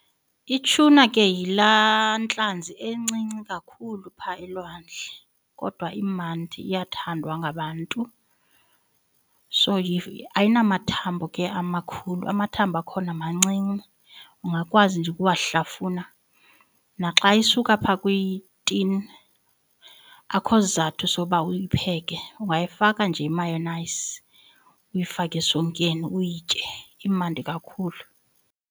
Ituna ke yilaa ntlanzi encinci kakhulu phaa elwandle kodwa imandi iyathandwa ngabantu. So ayinamathambo ke amakhulu, amathambo akhona mancinci ungakwazi nje ukuwahlafuna naxa isuka phaa kwitini, akukho sizathu soba uyipheke. Ungayifaka nje i-mayonnaise, uyifake esonkeni uyitye imandi kakhulu.